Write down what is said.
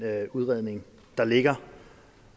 udredning der ligger